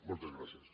moltes gràcies